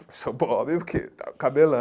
Professor Bob, porque estava com cabelão.